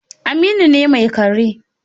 Aminu ne mai kare